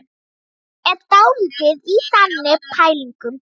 Hann er dálítið í þannig pælingum.